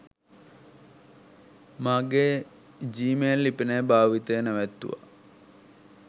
මගේ Gmail ලිපිනය භාවිතය නැවැත්තුවා